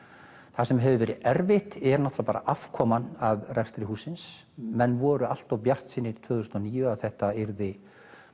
það sem hefur verið erfitt er afkoman af rekstri hússins menn voru allt of bjartsýnir tvö þúsund og níu að þetta yrði